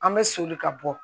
An bɛ soli ka bɔ